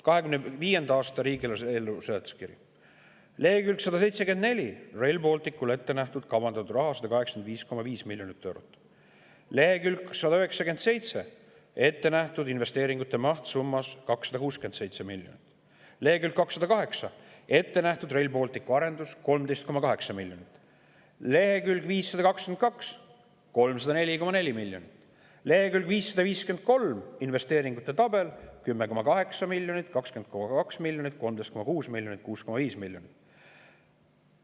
2025. aasta riigieelarve eelnõu seletuskiri, lehekülg 174: Rail Balticule kavandatud raha 185,5 miljonit eurot, lehekülg 197: investeeringute maht summas 267 miljonit, lehekülg 208: Rail Balticu arenduseks ette nähtud 13,8 miljonit, lehekülg 522: 304,4 miljonit, lehekülg 553, investeeringute tabel: 10,8 miljonit, 20,2 miljonit, 13,6 miljonit ja 6,5 miljonit.